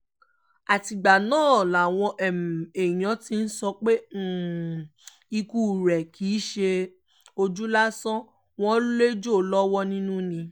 àtìgbà náà làwọn èèyàn ti ń sọ pé ikú rẹ̀ kì í ṣe ojú lásán wọn lẹ́jọ́ lọ́wọ́ nínú ni